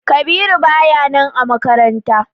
Kabiru baya nan jiya a makaranta.